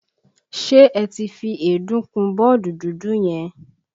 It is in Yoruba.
Ṣé ẹ ti fi èédú kun bọ́ọ̀dù dúdú yẹn?